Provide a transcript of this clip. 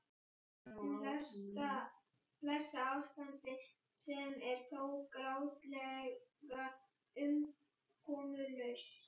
Blessað ástand sem er þó grátlega umkomulaust.